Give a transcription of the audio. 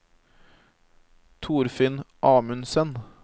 Torfinn Amundsen